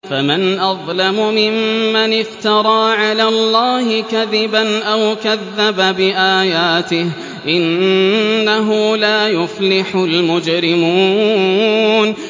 فَمَنْ أَظْلَمُ مِمَّنِ افْتَرَىٰ عَلَى اللَّهِ كَذِبًا أَوْ كَذَّبَ بِآيَاتِهِ ۚ إِنَّهُ لَا يُفْلِحُ الْمُجْرِمُونَ